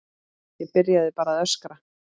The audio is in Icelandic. Ég byrjaði bara að öskra.